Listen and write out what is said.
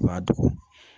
I b'a dogo